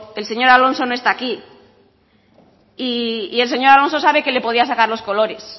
el señor alonso no está aquí y el señor alonso sabe que le podía sacar los colores